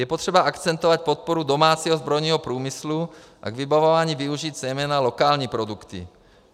Je potřeba akcentovat podporu domácího zbrojního průmyslu a k vybavování využít zejména lokální produkty.